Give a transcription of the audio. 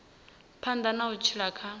phanḓa na u tshila kha